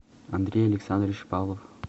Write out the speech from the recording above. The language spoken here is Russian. андрей александрович павлов